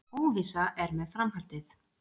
Óvissa er með framhaldið